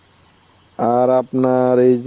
আর আপনার এই যে